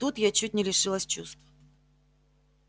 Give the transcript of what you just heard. вот тут я чуть не лишилась чувств